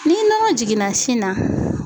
Ni nɔgɔ jiginna sin na.